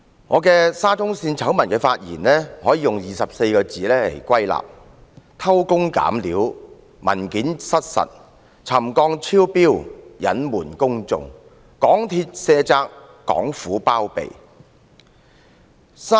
我就沙中線醜聞的發言，可以歸納為24個字："偷工減料，文件失實；沉降超標，隱瞞公眾；港鐵卸責，港府包庇。